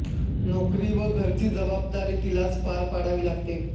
नोकरी व घराची जबाबदारी तिलाच पार पाडावी लागते